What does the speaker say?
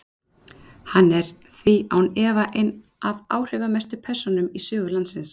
hann er því án efa ein af áhrifamestu persónum í sögu landsins